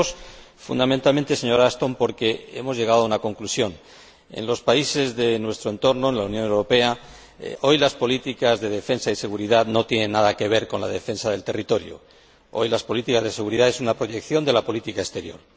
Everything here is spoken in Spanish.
Y lo hacemos, fundamentalmente, señora Ashton, porque hemos llegado a una conclusión. En los países de nuestro entorno, en la Unión Europea, hoy las políticas de defensa y seguridad no tienen nada que ver con la defensa del territorio hoy la política de seguridad es una proyección de la política exterior.